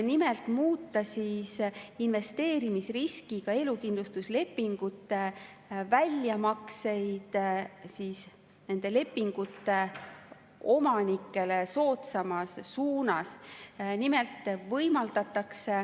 Nimelt pandi ette muuta investeerimisriskiga elukindlustuslepingute väljamakseid nende lepingute omanikele soodsamas suunas.